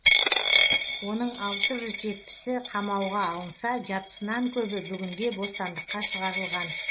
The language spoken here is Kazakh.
оның алты жүз жетпісі қамауға алынса жартысынан көбі бүгінде бостандыққа шығарылған